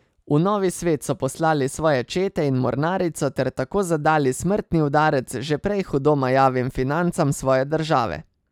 V novi svet so poslali svoje čete in mornarico ter tako zadali smrtni udarec že prej hudo majavim financam svoje države.